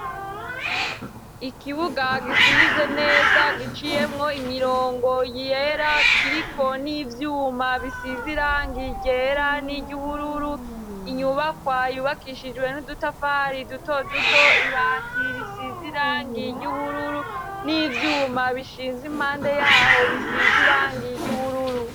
Ikibuga gisirivye neza, giciyemwo imirongo yera, kiriko n'ivyuma bisize irangi ryera n'iry'ubururu. Inyubakwa yubakishijwe n'udutafari duto duto. Ibati risize irangi ry'ubururu, n'ivyuma bishinze impande yaho bisize irangi ry'ubururu.